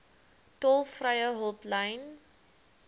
tolvrye hulplyn